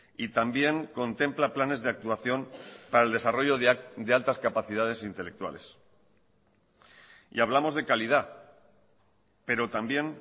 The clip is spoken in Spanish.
y también contempla planes de actuación para el desarrollo de altas capacidades intelectuales y hablamos de calidad pero también